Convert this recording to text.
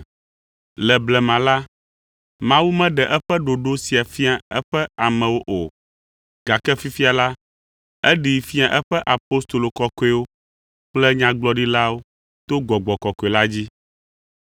Le blema la, Mawu meɖe eƒe ɖoɖo sia fia eƒe amewo o, gake fifia la, eɖee fia eƒe apostolo kɔkɔewo kple nyagblɔɖilawo to Gbɔgbɔ Kɔkɔe la dzi.